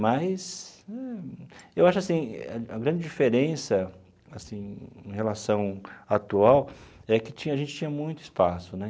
Mas, eu acho assim, a grande diferença, assim, em relação atual, é que tinha a gente tinha muito espaço, né?